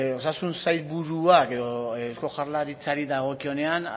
osasun sailburuak edo eusko jaurlaritzari dagokionean